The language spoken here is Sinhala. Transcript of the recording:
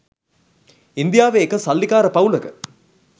ඉන්දියාවෙ එක සල්ලිකාර පවුලක